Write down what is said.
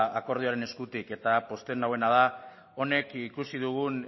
akordioaren eskutik eta pozten nauena da honek ikusi dugun